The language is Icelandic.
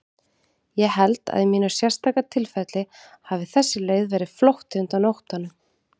Ég held að í mínu sérstaka tilfelli hafi þessi leið verið flótti undan óttanum.